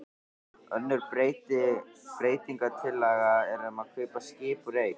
Önnur breytingatillaga er um að kaupa skip úr eik.